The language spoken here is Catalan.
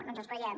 no ens els creiem